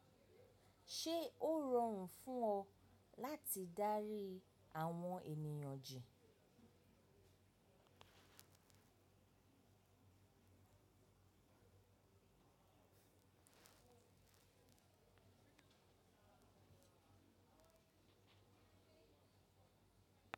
Ṣé ó rọrùn fún ọ láti dárí àwọn ènìyàn ji?